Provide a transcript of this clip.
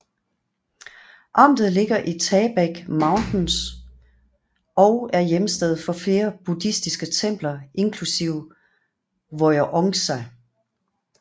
Amtet ligger i Taebaek Mountains og er hjemsted for flere buddhistiske templer inklusiv Woljeongsa